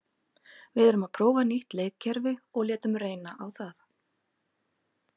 Við erum að prófa nýtt leikkerfi og létum reyna á það.